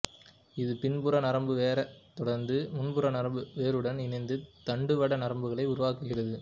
இது பின்புற நரம்பு வேரைத் தொடர்ந்து முன்புற நரம்பு வேருடன் இணைந்து தண்டுவட நரம்புகளை உருவாக்குகிறது